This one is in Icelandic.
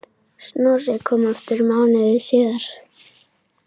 Snorri kom aftur mánuði síðar.